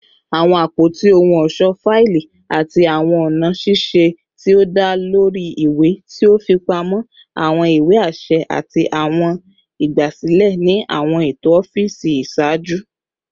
Awọn apoti ohun ọṣọ faili ati awọn ọna ṣiṣe ti o da lori iwe ti o fipamọ awọn iwe aṣẹ ati awọn igbasilẹ ni awọn eto ọfiisi iṣaaju